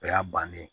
O y'a bannen ye